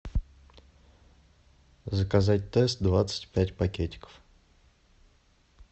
заказать тесс двадцать пять пакетиков